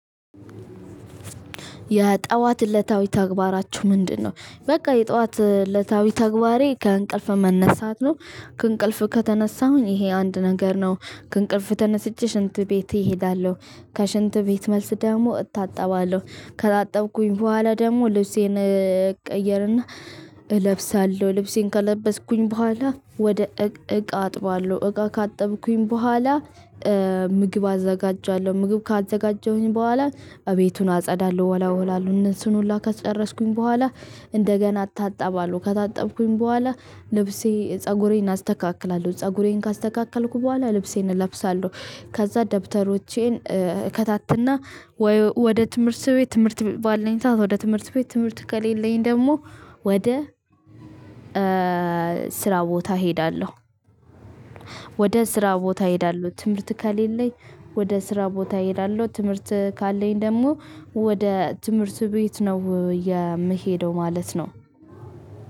የጠዋት እለታዊ ተግባራችሁ ምንድነው? በቃ የጠዋት እለታዊ ተግባሬ ከእንቅልፍ መነሳት ነው። ከእንቅልፍ ከተነሳሁኝ ይሄ አንድ ነገር ነው ከእንቅልፍ ተነስቼ ሽንት ቤቴ እሄዳለሁ። ከሽንት ቤት መልስ ደግሞ እታጠባለሁ። ከታጠብኩኝ በኋላ ደግሞ ልብሴን እቀይርና እለብሳለሁ ልብሴን ከለበስኩኝ በኋላ ወደ እቃ አጥባለሁ እቃ ካጠብኩኝ በኋላ። ምግብ አዘጋጃለሁ ምግብ ካዘጋጀሁኝ በኋላ እቤቱን አጸዳለሁ እወላውላው እነሱን ሁላ ከጨረስኩኝ በኋላ። እንደገና አታጣባለሁ ከታጠብኩኝ በኋላ ልብሴ ፀጉሬን አስተካክላለሁ ፀጉሬን ካስተካከልኩ በኋላ ልብሴን እለብሳለሁ። ከዛ ደብተሮቼን እከታትና ወደ ትምህርት ቤት ትምህርት ባለኝ ሰዓት ወደ ትምህርት ቤት ትምህርት ከሌለኝ ደግሞ ወደ ስራ ቦታ እሄዳለሁ። ወደ ስራ ቦታ እሄዳለሁ ትምህርት ከሌለኝ ወደ ስራ ቦታ እሄዳለሁ። ትምህርት ካለኝ ደግሞ ወደ ትምህርት ቤት ነው የምሄደው ማለት ነው።